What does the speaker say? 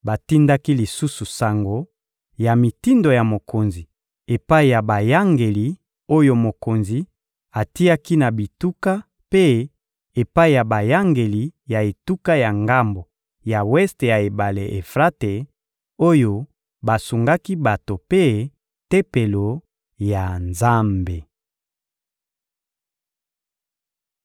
Batindaki lisusu sango ya mitindo ya mokonzi epai ya bayangeli oyo mokonzi atiaki na bituka mpe epai ya bayangeli ya etuka ya ngambo ya weste ya ebale Efrate, oyo basungaki bato mpe Tempelo ya Nzambe.